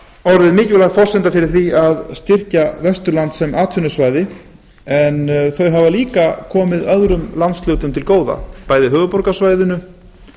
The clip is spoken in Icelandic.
orðið mikilvæg forsenda fyrir því að styrkja vesturland sem atvinnusvæði en þau hafa líka komið öðrum landsvæðum til góða bæði höfuðborgarsvæðinu